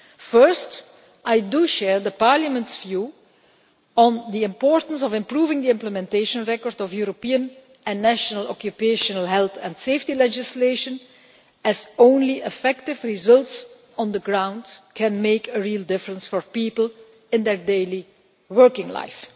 First, I do share Parliament's view on the importance of improving the implementation record of European and national occupational health and safety legislation, as only effective results on the ground can make a real difference for people in their daily working life.